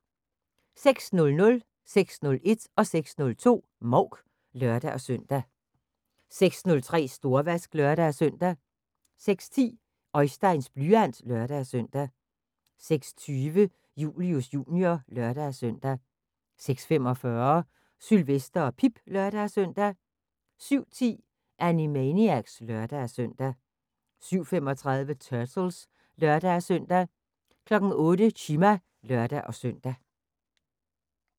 06:00: Mouk (lør-søn) 06:01: Mouk (lør-søn) 06:02: Mouk (lør-søn) 06:03: Storvask (lør-søn) 06:10: Oisteins blyant (lør-søn) 06:20: Julius Jr. (lør-søn) 06:45: Sylvester og Pip (lør-søn) 07:10: Animaniacs (lør-søn) 07:35: Turtles (lør-søn) 08:00: Chima (lør-søn)